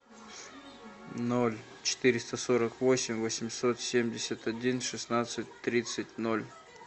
ноль четыреста сорок восемь восемьсот семьдесят один шестнадцать тридцать ноль